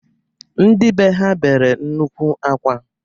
Ndị bee ha bere nnukwu akwa.